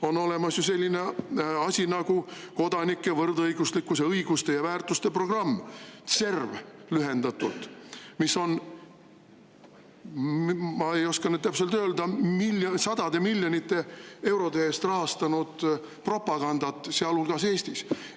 On olemas selline asi nagu kodanike, võrdõiguslikkuse, õiguste ja väärtuste programm, CERV lühendatult, mis on, ma ei oska nüüd täpselt öelda, aga sadade miljonite eurode eest rahastanud propagandat, sealhulgas Eestis.